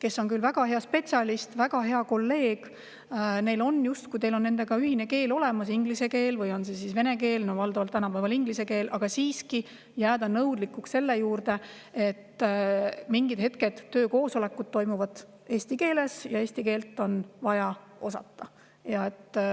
Ta on küll väga hea spetsialist, väga hea kolleeg, teil on ühine keel olemas, on see inglise keel või vene keel – tänapäeval valdavalt inglise keel –, aga siiski jääda nõudlikuks, et mingi, töökoosolekud toimuvad eesti keeles ja eesti keelt on vaja osata.